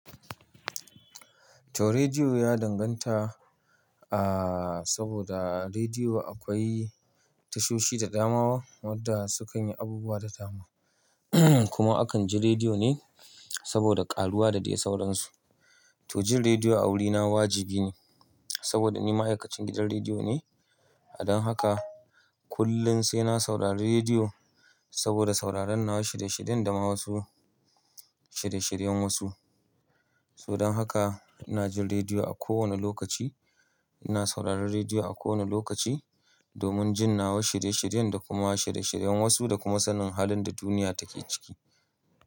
To rediyo ya danganta, ah, saboda rediyo akwai tashoshi da dama waɗanda sukan yi abubuwa da tamu. Kuma akan ji rediyo ne saboda ƙaruwa da dai sauransu. To jin rediyo a wurina wajibi ne saboda ni ma'aikacin gidan rediyo ne. Don haka kullum sai na saurari rediyo saboda sauraron nawa shirye-shiryen da ma wasu shirye-shiryen wasu. Don haka ina jin rediyo a kowane lokaci. Ina sauraron rediyo a kowane lokaci domin jin nawa shirye-shiryen da kuma shirye-shiryen wasu da kuma sanin halin da duniya take ciki.